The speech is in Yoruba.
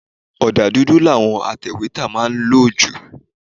Ọ̀dà dùdù làwọn atẹ̀wétà má ń lò jù.